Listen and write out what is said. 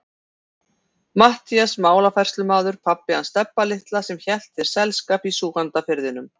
Matthías málafærslumaður, pabbi hans Stebba litla sem hélt þér selskap í Súgandafirðinum.